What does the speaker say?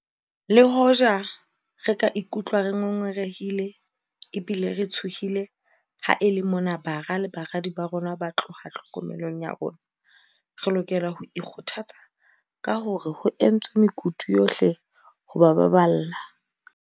Le hoja re ka ikutlwa re ngo ngorehile ebile re tshohile ha e le mona bara le baradi ba rona ba tloha tlhokomelong ya rona, re lokela ho ikgothatsa ka hore ho entswe mekutu yohle ho ba baballa.